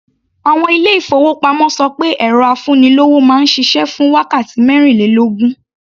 Àwọn ilé-ìfowópamọ́ ṣọ pé ẹ̀rọ afúnilówó máa ń ṣiṣẹ́ fún wákàtí mẹ́rìnlélógún.